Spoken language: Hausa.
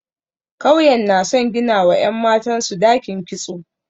Kauyen na son ginawa ‘yan matansu dakin kitso.